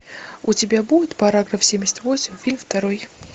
у тебя будет параграф семьдесят восемь фильм второй